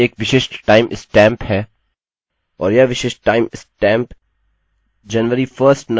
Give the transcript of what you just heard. और यह विशिष्ट timestamp जनवरी 1st 1970 के पहले के सेकंड्स की संख्या है